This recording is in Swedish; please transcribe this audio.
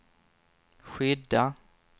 skydda